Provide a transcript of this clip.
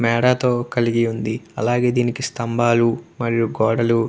మెడ తో కలిగి ఉంది అలాగే దీనికి స్తంబాలు గోడలు ఉన్నాయ్.